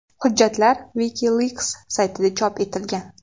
Hujjatlar WikiLeaks saytida chop etilgan.